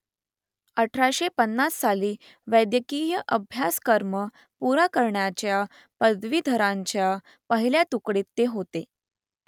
अठराशे पंन्नास साली वैद्यकीचा अभ्यासक्रम पुरा करणाऱ्या पदवीधरांच्या पहिल्या तुकडीत ते होते